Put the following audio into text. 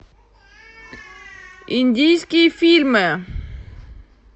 индийские фильмы